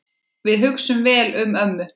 Við hugsum vel um ömmu.